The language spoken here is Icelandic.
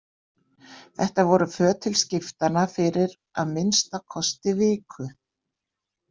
Þetta voru föt til skiptanna fyrir að minnsta kosti viku.